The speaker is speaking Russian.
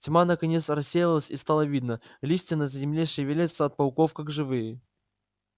тьма наконец рассеялась и стало видно листья на земле шевелятся от пауков как живые